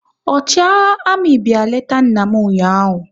Ọchịagha amị bịa leta nna m ụnyaahụ